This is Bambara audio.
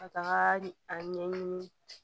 Ka taga a ɲɛɲini